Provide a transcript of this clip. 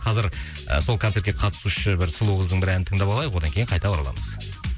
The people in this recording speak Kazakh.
қазір і сол концертке қатысушы бір сұлу қыздың бір әнін тыңдап алайық одан кейін қайта ораламыз